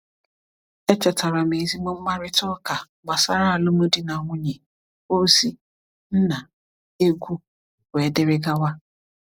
Echetara m ezigbo mkparịta ụka gbasara alụmdi na nwunye, ozi, nna, egwu, wdg.